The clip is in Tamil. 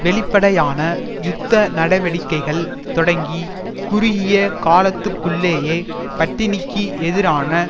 வெளிப்படையான யுத்த நடவடிக்கைகள் தொடங்கி குறுகிய காலத்துக்குள்ளேயே பட்டினிக்கு எதிரான